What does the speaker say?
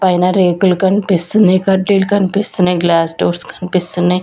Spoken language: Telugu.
పైన రేకులు కన్పిస్తున్నాయి కట్టెలు కన్పిస్తున్నాయి గ్లాస్ డోర్స్ కన్పిస్తున్నాయి.